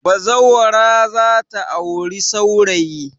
Bazawara za ta auri saurayi.